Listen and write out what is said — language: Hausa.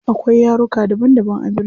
Akwai yaruka daban daban a birni.